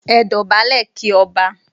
Ẹ dọ̀bálẹ̀ kí Ọba!